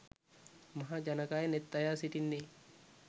මහා ජනකාය නෙත් අයා සිටින්නේ